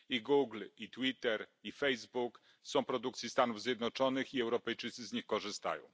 Google, Twitter, Facebook są produkcji Stanów Zjednoczonych i Europejczycy z nich korzystają.